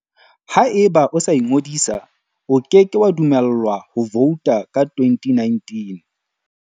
Haeba o sa ingodisa, o ke ke wa dumellwa ho vouta ka 2019.